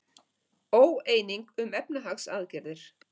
Óeining um efnahagsaðgerðir